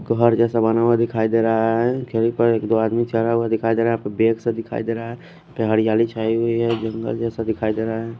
घर जेसा बना हुआ हुआ दिखाई देरा है यही पर एक दो आदमी जरा हुआ दिखाई डेरा है कुछ भेस सा दिखाई देरा है हरियाली छाय हुई है जंगल जेसा दिखाई देरा है।